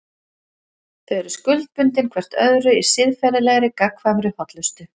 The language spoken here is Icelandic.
Þau eru skuldbundin hvert öðru í siðferðilegri, gagnkvæmri hollustu.